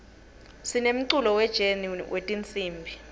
sinemculo we jeni wetinsimb